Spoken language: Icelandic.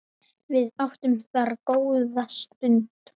Við áttum þar góða stund.